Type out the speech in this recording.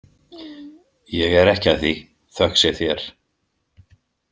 Ég er ekki að því, þökk sé þér.